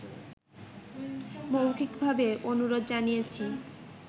মৌখিকভাবে অনুরোধ জানিয়েছি